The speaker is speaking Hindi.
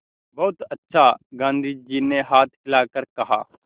बहुत अच्छा गाँधी जी ने हाथ हिलाकर कहा